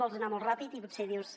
vols anar molt ràpid i potser dius